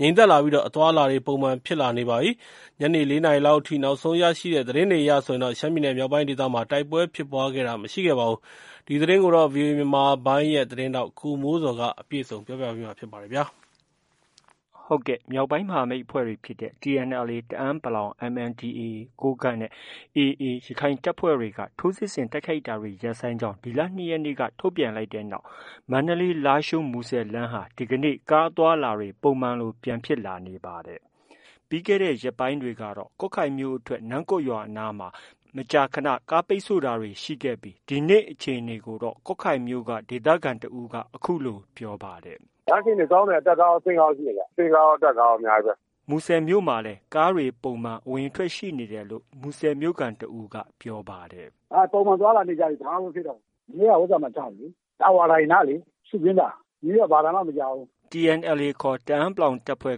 ငြိမ်သက်လာပြီး အသွားအလာတွေ ပုံမှန်ပြန်ဖြစ်လာနေပါပြီ။ ညနေ ၄နာရီလောက်အထိ နောက်ဆုံးရရှိတဲ့ သတင်းတွေအရဆိုရင် ရှမ်းပြည်နယ်မြောက်ပိုင်းဒေသမှာ တိုက်ပွဲဖြစ်ပွားတာ မရှိခဲ့ပါဘူး။ ဒီသတင်းကိုတော့ ဗွီအိုအေမြန်မာပိုင်းရဲ့ သတင်းထောက် ကိုမိုးဇော်က တင်ပြထားပါတယ်။ မြောက်ပိုင်းမဟာမိတ်အဖွဲ့တွေဖြစ်တဲ့ TNLA တအန်း ၊ MNDAA ကိုးကန့် နဲ့ AA ရခိုင်တပ်ဖွဲ့တွေက ထိုးစစ်ဆင်တိုက်ခိုက်တာတွေ ရပ်ဆိုင်းကြောင်း ဒီလ ၂ရက်နေ့က ထုတ်ပြန် လိုက် တဲ့နောက် မန္တလေး- လားရှိုး- မူဆယ်လမ်းဟာ ကားအသွားအလာတွေ ပုံမှန်လိုပြန်ဖြစ်လာနေတာပါ။ ပြီးခဲ့တဲ့ ရက်ပိုင်းတွေကတော့ ကွတ်ခိုင်မြို့အထွက် နမ့်ကွတ်နားမှာ မကြာခဏ ကားပိတ်ဆို့တာတွေရှိခဲ့ပြီး ဒီနေ့မှာအခြေအနေကို ကွတ်ခိုင်မြို့က ဒေသခံတစ်ဦးက အခုလို ပြောပါတယ်။ “ လမ်းအခြေအနေကောင်းတယ်။ အတက်ကားရော အဆင်းကားရောရှိတယ်ဗျ။ အဆင်းကားရော အတက်ကားရော အများကြီးပဲ။” မူဆယ်မြို့ကလည်း ကားတွေ ပုံမှန်အဝင်အထွက်ရှိနေတယ်လို့ မူဆယ်မြို့ခံတစ်ဦးက ပြောပါတယ်။ “ ပုံမှန်သွားလာနေကြပြီ။ ဘာမှ မဖြစ်တော့ဘူး။ မနေ့ကတော့ ဟိုဥစ္စာမှာ ချတယ်လေ။ တာဝါတိုင်နားလေ။ ရှုခင်းသာ။ ဒီနေ့တော့ ဘာသံမှ မကြားဘူး။” TNLAခေါ် တအန်း တပ်ဖွဲ့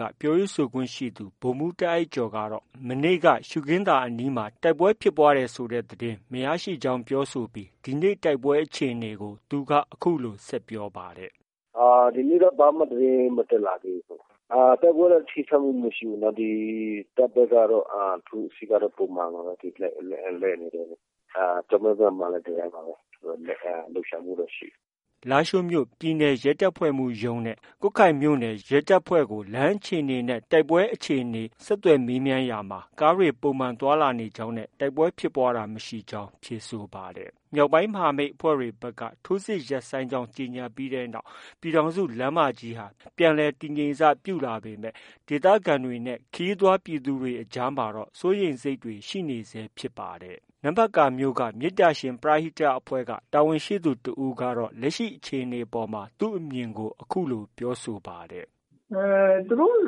က ပြောရေးဆိုခွင့်ရှိသူ ဗိုလ်မှုးတားအိုက်ကျော်ကတော့ မနေ့က ရှုခင်းသာအနီးတိုက်ပွဲဖြစ်ပွားတယ်ဆိုတဲ့သတင်း မရရှိကြောင်း ပြောဆိုပြီးဒီနေ့တိုက်ပွဲအခြေအနေကို အခုလို ပြောပါတယ်။ “ ဒီနေ့တော့ ဘာမှ သတင်း မတက်လာသေးဘူး။ တိုက်ပွဲတော့ ပစ်ခတ်မှုမရှိဘူး။ ဒီ တပ်ဘက်ကတော့ ထိုးစစ်ကတော့ ပုံမှန်ပါပဲ။ လှည့်နေတာ။ ကျောက်မဲဘက်မှာလည်း ဒီတိုင်းပါပဲ။ လှုပ်ရှားမှုတော့ ရှိနေတယ်။” လားရှိုးမြို့ ပြည်နယ်ရဲတပ်ဖွဲ့မှုးရုံးနဲ့ ကွတ်ခိုင်မြို့နယ်ရဲတပ်ဖွဲ့ရုံးကို လမ်းအခြေအနေနဲ့ တိုက်ပွဲအခြေအနေကို ဆက်သွယ်မေးမြန်းရာမှာ ကားတွေ ပုံမှန်သွားလာနေကြောင်းနဲ့ တိုက်ပွဲဖြစ်ပွားတဲ့သတင်းမရရှိကြောင်း ဖြေဆိုပါတယ်။ မြောက်ပိုင်းမဟာမိတ်အဖွဲ့တွေဘက်က ထိုးစစ်ရပ်ဆိုင်းကြောင်း ကြေညာပြီးနောက် ပြည်ထောင်စုလမ်းမကြီးဟာ ပြန်လည်တည်ငြိမ်စပြုလာပေမဲ့ ဒေသခံတွေ၊ ခရီးသွားပြည်သူတွေ အကြားမှာတော့ စိုးရိမ်စိတ်တွေ ရှိနေဆဲဖြစ်ပါတယ်။ နမ့်ဖတ်ကာရှိ မေတ္တာရှင် ပရဟိတအဖွဲ့က တာဝန်ရှိသူတစ်ဦးကတော့ လက်ရှိအခြေအနေအပေါ်မှာ သူ့အမြင်ကို အခုလို ပြောဆိုထားပါတယ်။ “ သူတို့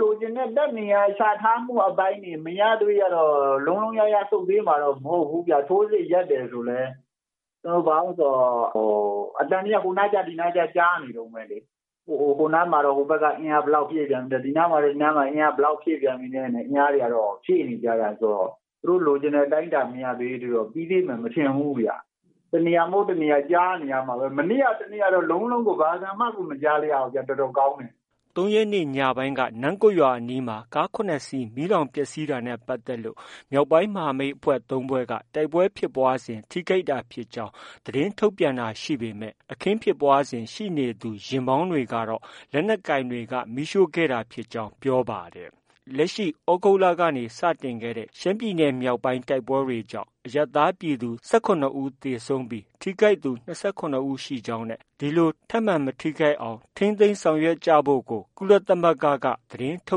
လိုချင်တဲ့ တပ်နေရာချထားမှုအပိုင်းတွေ မရသရွေ့ကတော့ လုံးလုံးလျားလျား ဆုတ်ပေးမှာတော့ မဟုတ်ဘူးဗျ။ ထိုးစစ်ရပ်တယ်ဆိုလည်း။ ဘာလိုတုံးဆိုတော့ အသံတွေက ဟိုနားကြား ဒီနားကြား ကြားနေတုံးပဲလေ။ ဟိုနားမှာတော့ ဟိုဘက်က အင်အားဘယ်လောက် ဖြည့်လိုက်ပြန်ပြီတဲ့။ ဒီနားမှာတော့ အင်အားဘယ်လောက်ဖြည့်လိုက်ပြန်ပြီတဲ့ ဖြည့်နေကြတာဆိုတော့ သူတို့ လိုချင်တဲ့ အတိုင်းအတာမရသေးသရွေ့ ပြီးသေးမယ် မထင်ဘူးဗျ။ တစ်နေရာမဟုတ် တစ်နေရာကြားနေရမှာပဲ။ မနေ့ကနဲ့ တစ်နေ့ကတော့ လုံးလုံးကို ဘာသံမှကို မကြားလိုက်ရဘူးဗျ။ တော်တော်ကောင်းတယ်။” ၃ရက်နေ့ညပိုင်းက နမ့်ကွတ်ရွာအနီးမှာ ကား၇စင်း မီးလောင်ပျက်ဆီးတာနဲ့ပတ်သက်ပြီး မြောက်ပိုင်းမဟာမိတ်၃ဖွဲ့ တိုက်ပွဲဖြစ်ပွားစဉ် ထိခိုက်တာဖြစ်ကြောင်း သတင်းထုတ်ပြန်တာရှိပေမဲ့ အခင်းဖြစ်ပွားစဉ် ရှိနေသူယာဉ်မောင်းတွေကတော့ လက်နက်ကိုင်တွေက မီးရှို့ခဲ့တာဖြစ်ကြောင်း ပြောပါတယ်။ လက်ရှိ သြဂုတ်လကနေစတင်ခဲ့တဲ့ ရှမ်းပြည်နယ်မြောက်ပိုင်းတိုက်ပွဲတွေကြောင့် အရပ်သားပြည်သူ ၁၇ဦးသေဆုံးပြီး ထိခိုက်သူ ၂၇ဦးရှိကြောင်းနဲ့ ဒီလို ထပ်မံ မထိခိုက်အောင်ထိန်းသိမ်းလုပ်ဆောင်ဖို့ အတွက် ကုလသမဂ္ဂ သတင်းထု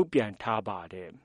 တ်ပြန်ထားပါတယ်။